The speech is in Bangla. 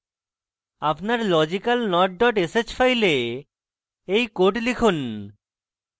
আপনার logicalnot dot sh file এই code লিখুন